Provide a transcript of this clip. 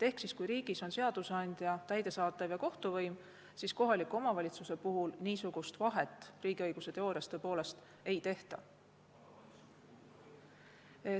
Ehk kui riigis on seadusandlik, täidesaatev ja kohtuvõim, siis kohaliku omavalitsuse puhul niisugust vahet riigiõiguse teoorias tõepoolest ei tehta.